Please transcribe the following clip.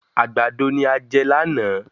Àgbàdo ni a jẹ lánàá.